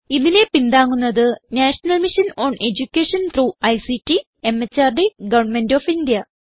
ഇതിനെ പിന്താങ്ങുന്നത് national mission on education through ICT MHRD government of India